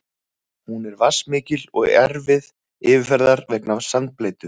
Hún er vatnsmikil og erfið yfirferðar vegna sandbleytu.